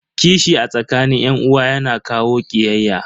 Kishi a tsakanin yan uwa yana kawo kiyayya.